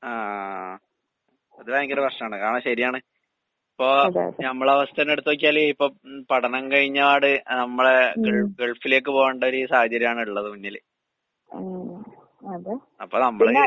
ആഹ്. അത് ഭയങ്കര കഷ്ടാണ്, കാരണം ശെരിയാണ്. ഇപ്പോ നമ്മളവസ്ഥ തന്നെയെടുത്ത് നോക്കിയാല് ഇപ്പം പഠനം കഴിഞ്ഞ പാട് അഹ് നമ്മടെ ഗൾഫ് ഗൾഫിലേക്ക് പോകണ്ടൊര് സാഹചര്യാണുള്ളത് മുന്നില്. അപ്പ നമ്മള്